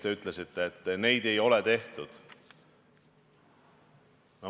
Te ütlesite, et neid ei ole tehtud.